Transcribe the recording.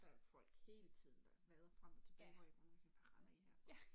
Der er folk hele tiden der vader frem og tilbage hvor jeg kan nogle gange bare sige hvad render I her for